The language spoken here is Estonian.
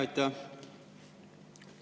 Aitäh!